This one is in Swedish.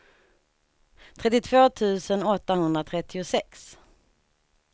trettiotvå tusen åttahundratrettiosex